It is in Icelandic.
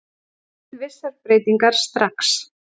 Vill vissar breytingar strax